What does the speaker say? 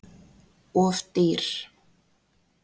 Of dýr